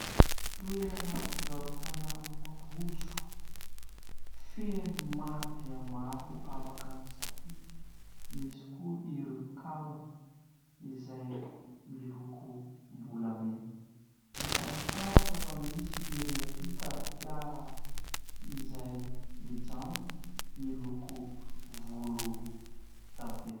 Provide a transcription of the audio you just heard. Toerana fivarotana rojo feno maro dia maro afaka misafidy misy koa ireo kaviny izay milokom-bolamena. Hita amin'ny fitaratra fa misy ery ampita fiara izay mijanona miloko volondavenona.